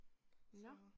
Nå